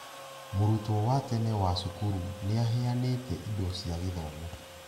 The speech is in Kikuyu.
Mũrutwo wa tene wa cukuru nĩaheanĩte indo cia gĩthomo.